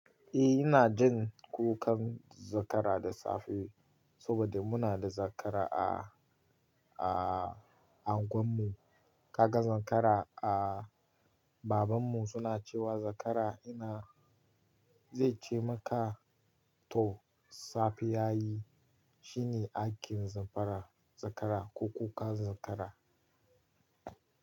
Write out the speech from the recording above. Eh ina jin kukan zakara da safe saboda muna da zakara a, a unguwar mu. Kaga zakara a, baban mu suna cewa zakara ina zai ce maka to safe ya yi shine aikin zakara, zakara ko kukan zakara.